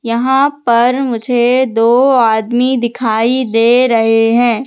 यहां पर मुझे दो आदमी दिखाई दे रहे हैं।